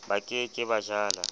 ba ke ke ba jala